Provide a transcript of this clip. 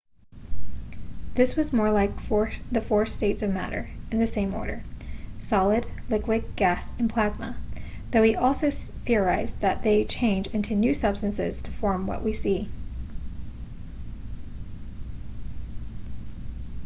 this was more like the four states of matter in the same order: solid liquid gas and plasma though he also theorised that they change into new substances to form what we see